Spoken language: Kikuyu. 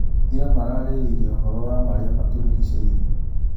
Ira maraarĩrĩirie ũhoro wa marĩa matũrigicĩirie?